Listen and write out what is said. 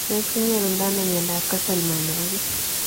Tos kinyorundoi ano miondoop castlman nepo piik?